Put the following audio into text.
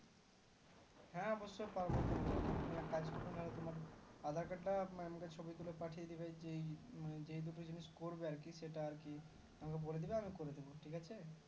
হ্যাঁ অবশ্যই পারবো কেন পারবোনা তুমি এক কাজ করবে না হোলে তোমার aadhar card টা আমাকে ছবি তোলে পাঠিয়ে দিবে যেই দুটো জিনিস করবে আরকি সেটা আরকি আমাকে বোলে দিবে আমি করে দিবো ঠিক আছে